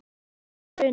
Þú veist að bruna